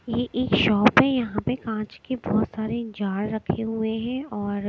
ये एक शॉप है यहां पे कांच के बहुत सारे जार रखे हुए और।